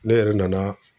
Ne yɛrɛ nana